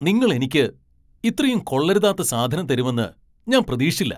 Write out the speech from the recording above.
നിങ്ങൾ എനിക്ക് ഇത്രയും കൊള്ളരുതാത്ത സാധനം തരുമെന്ന് ഞാൻ പ്രതീക്ഷിച്ചില്ല.